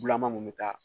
Bulaman mun bɛ taa